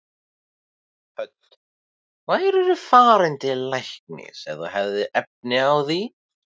Hödd: Værirðu farinn til læknis ef þú hefðir efni á því?